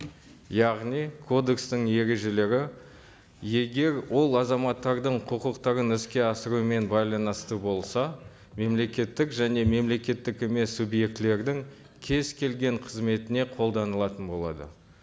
яғни кодекстің ережелері егер ол азаматтардың құқықтарын іске асырумен байланысты болса мемлекеттік және мемлекеттік емес субъектілердің кез келген қызметіне қолданылатын болады